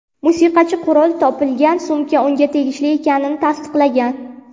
Musiqachi qurol topilgan sumka unga tegishli ekanini tasdiqlagan.